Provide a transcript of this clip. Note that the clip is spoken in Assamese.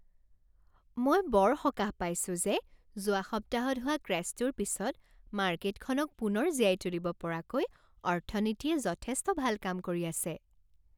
মই বৰ সকাহ পাইছো যে যোৱা সপ্তাহত হোৱা ক্ৰেশ্বটোৰ পিছত মাৰ্কেটখনক পুনৰ জীয়াই তুলিব পৰাকৈ অৰ্থনীতিয়ে যথেষ্ট ভাল কাম কৰি আছে।